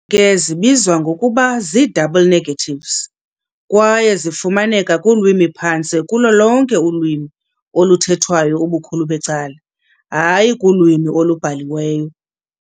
ke zibizwa ngokuba zii-"double negatives", kwaye zifumaneka kulwimi phantse kulo lonke ulwimi oluthethwayo ubukhulu becala, hayi kulwimi olubhaliweyo.